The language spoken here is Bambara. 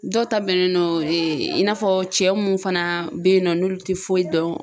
Dɔw ta bɛnnen do ee i n'a fɔ cɛ mun fana be yen nɔ n'olu te foyi dɔn